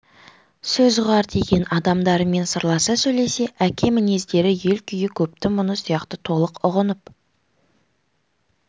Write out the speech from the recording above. сөз ұғар деген адамдарымен сырласа сөйлесе әке мінездері ел күйі көптің мұңы сияқтыны толық ұғынып